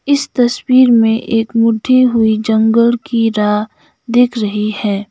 इस तस्वीर में एक बुड्ढे हुई जंगल की राह दिख रही है।